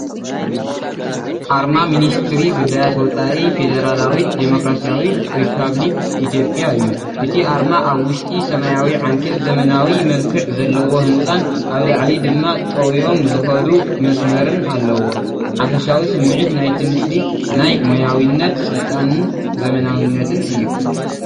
ኣርማ ሚኒስትሪ ጉዳያት ወጻኢ ፌደራላዊት ዲሞክራስያዊት ሪፓብሊክ ኢትዮጵያ እዩ። እቲ ኣርማ ኣብ ውሽጢ ሰማያዊ ዓንኬል ዘመናዊ መልክዕ ዘለዎ ህንጻን ኣብ ላዕሊ ድማ ጠውዮም ዝኸዱ መስመርን ኣለዎ። ሓፈሻዊ ስምዒት ናይቲ ምስሊ ናይ ሞያዊነት፡ ስልጣንን ዘመናዊነትን እዩ።